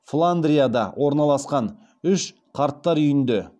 фландрияда орналасқан үш қарттар үйінде